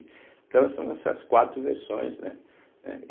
Então são essas quatro versões, né? eh